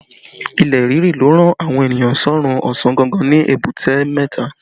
Ilẹ̀ ríri ló rán àwọn ènìyàn sọ́rún ọ̀sán gangan ní Èbúté mẹ́ta